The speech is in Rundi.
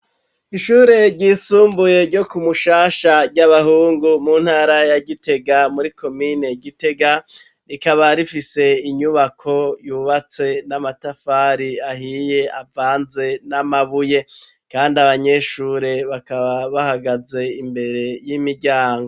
Ishure ryisumbuye ryo ku mushasha ry'abahungu mu ntara ya gitega muri komine gitega rikaba rifise inyubako yubatse n'amatafari ahiye avanze n'amabuye kandi abanyeshure bakaba bahagaze imbere y'imiryango.